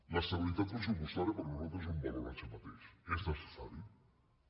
l’estabilitat pressupostària per nosaltres és un valor en si mateixa és necessària